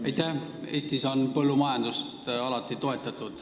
Aitäh!